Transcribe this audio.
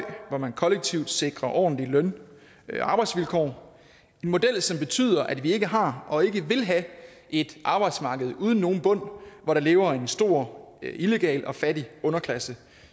hvor man kollektivt sikrer ordentlige løn og arbejdsvilkår en model som betyder at vi ikke har og ikke vil have et arbejdsmarked uden nogen bund hvor der lever en stor illegal og fattig underklasse